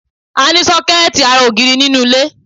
A ní sọ́kẹ́ẹ̀tì ará ògiri nínú ilé.